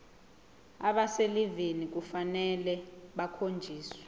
abaselivini kufanele bakhonjiswe